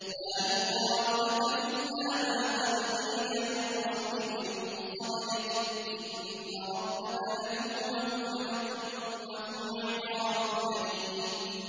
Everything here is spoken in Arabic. مَّا يُقَالُ لَكَ إِلَّا مَا قَدْ قِيلَ لِلرُّسُلِ مِن قَبْلِكَ ۚ إِنَّ رَبَّكَ لَذُو مَغْفِرَةٍ وَذُو عِقَابٍ أَلِيمٍ